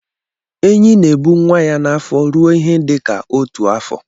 Enyi na-ebu nnwa ya n'afọ ruo ihe dị ka otu afọ